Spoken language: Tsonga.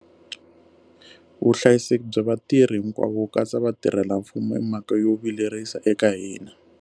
Vuhlayiseki bya vatirhi hinkwavo, ku katsa vatirhelamfumo, i mhaka yo vilerisa eka hina.